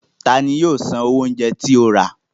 Ta ni yóò san owó oúnjẹ tí o rà?